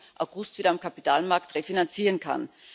20. August wieder am Kapitalmarkt refinanzieren kann.